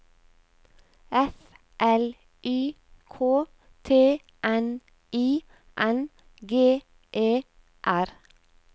F L Y K T N I N G E R